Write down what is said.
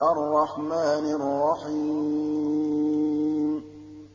الرَّحْمَٰنِ الرَّحِيمِ